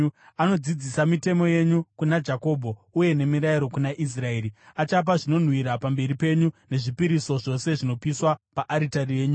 Anodzidzisa mitemo yenyu kuna Jakobho uye nemirayiro kuna Israeri. Achapa zvinonhuhwira pamberi penyu nezvipiriso zvose zvinopiswa paaritari yenyu.